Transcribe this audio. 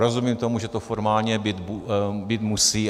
Rozumím tomu, že to formálně být musí.